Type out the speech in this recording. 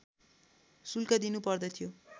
शुल्क दिनु पर्दथ्यो